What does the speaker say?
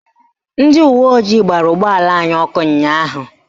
Ndị uweojii gbara ụgbọala anyị ọkụ ụnyaahụ